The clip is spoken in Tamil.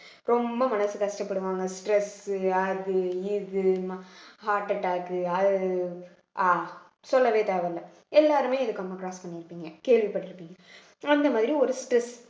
ரொம்ப மனசு கஷ்டப்படுவாங்க stress அது இது heart attack அது அஹ் சொல்லவே தேவையில்ல எல்லாருமே cross பண்ணிருப்பீங்க கேள்விப்பட்டிருப்பீங்க அந்த மாதிரி ஒரு stress